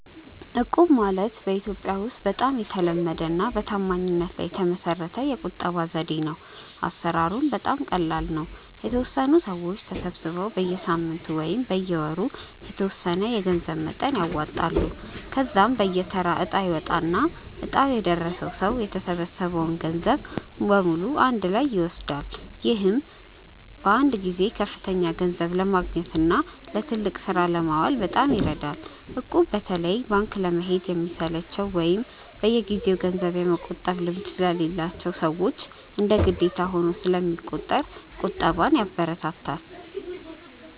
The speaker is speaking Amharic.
እቁብ ማለት በኢትዮጵያ ውስጥ በጣም የተለመደና በታማኝነት ላይ የተመሰረተ የቁጠባ ዘዴ ነው። አሰራሩም በጣም ቀላል ነው፤ የተወሰኑ ሰዎች ተሰባስበው በየሳምንቱ ወይም በየወሩ የተወሰነ የገንዘብ መጠን ያዋጣሉ። ከዚያም በየተራ እጣ ይወጣና እጣው የደረሰው ሰው የተሰበሰበውን ገንዘብ በሙሉ በአንድ ላይ ይወስዳል። ይህም በአንድ ጊዜ ከፍተኛ ገንዘብ ለማግኘትና ለትልቅ ስራ ለማዋል በጣም ይረዳል። እቁብ በተለይ ባንክ ለመሄድ ለሚሰለቻቸው ወይም በየጊዜው ገንዘብ የመቆጠብ ልምድ ለሌላቸው ሰዎች እንደ ግዴታ ሆኖ ስለሚቆጥር ቁጠባን ያበረታታል።